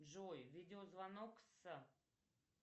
джой видео звонок с